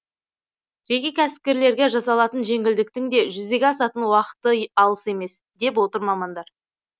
жеке кәсіпкерлерге жасалатын жеңілдіктің де жүзеге асатын уақыты алыс емес деп отыр мамандар